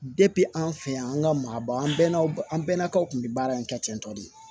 an fɛ yan an ka maaba an bɛnna an bɛnnakaw kun bi baara in kɛ ten tɔ de